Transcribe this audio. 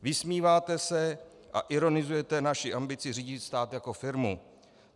Vysmíváte se a ironizujete naši ambici řídit stát jako firmu.